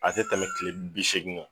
A te tɛmɛ kile bi segin kan